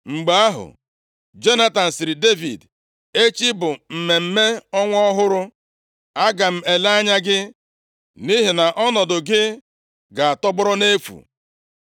Mgbe ahụ, Jonatan sịrị Devid, “Echi bụ mmemme ọnwa ọhụrụ. A ga-ele anya gị, nʼihi na ọnọdụ gị ga-atọgbọrọ nʼefu.